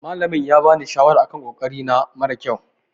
Malamin ya bani shawara a kan ƙoƙari na mara ƙyau.